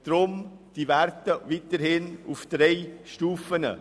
Deshalb bleiben die Werte auf drei Stufen.